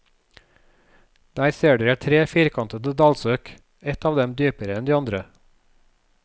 Der ser dere tre firkantede dalsøkk, et av dem dypere enn de andre.